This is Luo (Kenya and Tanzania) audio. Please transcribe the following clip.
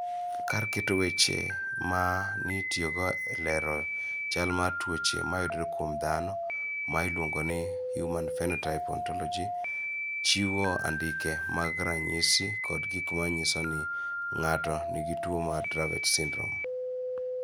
Kar keto weche ma nitiyogo e lero chal mar tuoche mayudore kuom dhano ma iluongo ni Human Phenotype Ontolog , chiwo andike mag ranyisi kod gik ma nyiso ni ng�ato nigi tuo mar Dravet syndrome.